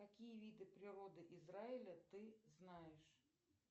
какие виды природы израиля ты знаешь